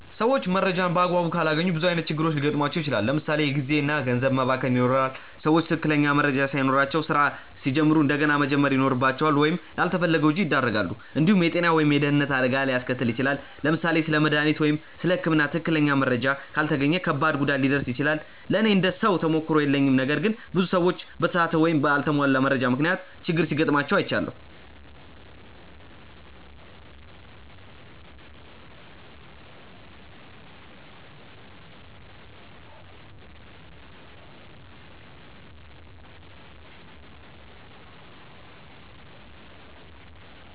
ሰዎች መረጃን በአግባቡ ካላገኙ ብዙ ዓይነት ችግሮች ሊገጥሟቸው ይችላል። ለምሳ ሌ የጊዜ እና ገንዘብ መባከን ይኖራል። ሰዎች ትክክለኛ መረጃ ሳይኖራቸው ስራ ሲጀምሩ እንደገና መጀመር ይኖርባቸዋል ወይም ላልተፈለገ ወጪ ያደርጋሉ። እንዲሁም የጤና ወይም የደህንነት አደጋ ሊያስከትል ይችላል። ለምሳሌ ስለ መድሃኒት ወይም ስለ ህክምና ትክክለኛ መረጃ ካልተገኘ ከባድ ጉዳት ሊደርስ ይችላል። ለእኔ እንደ ሰው ተሞክሮ የለኝም ነገር ግን ብዙ ሰዎች በተሳሳተ ወይም በአልተሟላ መረጃ ምክንያት ችግር ሲጋጥማቸው አይቻለሁ።